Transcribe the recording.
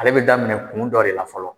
Ale bɛ daminɛ kun dɔ de le fɔlɔ